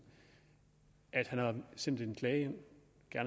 at han har sendt en klage